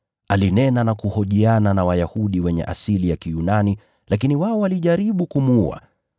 Alinena na kuhojiana na Wayahudi wenye asili ya Kiyunani lakini wao walijaribu kumuua.